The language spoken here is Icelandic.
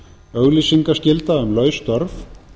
auglýsingaskylda um laus störf